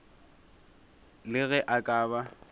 le ge a ka ba